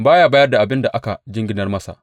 Ba ya mayar da abin da aka jinginar masa.